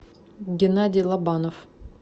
геннадий лобанов